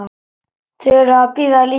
Þau eru að bíða líka.